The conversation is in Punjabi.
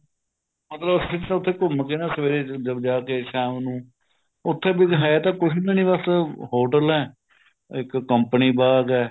ਮਤਲਬ ਤੁਸੀਂ ਉੱਥੇ ਘੁੰਮ ਕੇ ਆਉਣਾ ਸਵੇਰੇ ਜਾ ਕੇ ਸ਼ਾਮ ਨੂੰ ਉੱਥੇ ਬੱਸ ਹੈ ਤਾਂ ਕੁੱਝ ਵੀ ਨਹੀਂ ਬੱਸ ਹੋਟਲ ਏਂ ਇੱਕ company ਬਾਗ ਹੈ